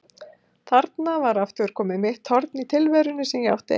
Þarna var aftur komið mitt horn í tilverunni sem ég átti ein.